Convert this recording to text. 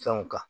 Fɛnw kan